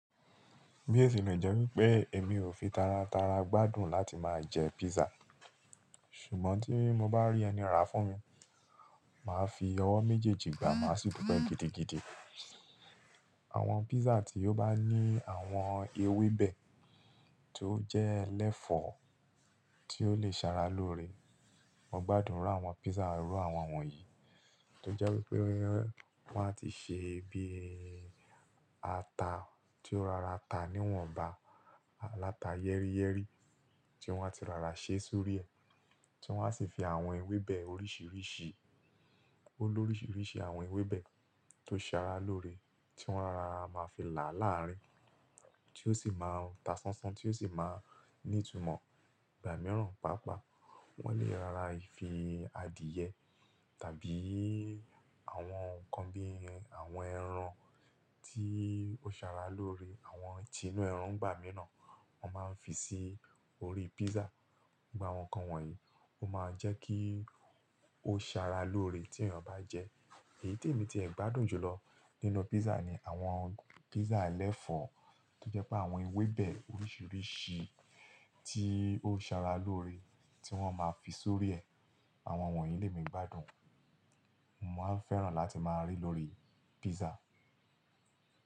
Bí ótilẹ̀ jẹ́ wípé èmi ò fi tara tara gbádùn láti máa jẹ pizza. Ṣùgbọ́n tí mo bá rí ẹni ràá fún mi, màá fi ọwọ́ méjèèjì gbà á súúpà gidi gidi. Àwọn pizza tí ó bá ní àwọn ewébẹ̀ tó jẹ́ ẹlẹ́fọ̀ọ́ tí ó lè ṣara lóore, mo gbádùn irú àwọn pizza irú àwọn wọ̀nyí. Tí ó jẹ́ wípé wọ́n á ti ṣe bíi ata tí ó rọra ta níwọ̀nba, aláta yẹ́ríyẹ́rí tí wọ́n ti rọra ṣeé sórí ẹ̀, tí wọ́n á sì fi àwọn ewébẹ̀ oríṣiríṣi, ó l'óríṣiríṣi àwọn ewébẹ̀ tó ṣara lóore tí wọ́n á máa fi là á láàárín, tí ó sì máa ń ta sánsán tí ó sì máa ní'tumọ̀ ìgbà mìíràn, pàápàá wọ́n le rọra fi adìyẹ tàbí àwọn nǹkan bí i, àwọn ẹran tí ó ṣara lóore, àwọn tinú ẹran nígbà mìíràn, wọ́n máa ń fi sí oríi pizza. Gbogbo àwọn nǹkan wọ̀nyí, ó máa jẹ́ kí ó ṣara lóore tí èèyàn bá jẹ ẹ́. Èyí tí èmi ti ẹ̀ gbádùn jùlọ nínú pizza ni àwọn pizza ẹlẹ́fọ̀ọ́ tó jẹ́ pé àwọn ewébẹ̀ oríṣiríṣi tí ó sara lóore tí wọ́n máa fi sórí ẹ, àwọn wọ̀nyí ni èmi gbádùn. Mo máa ń fẹ́ràn láti máa ríi lórí pizza.